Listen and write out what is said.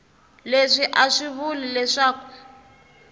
leswi a swi vuli leswaku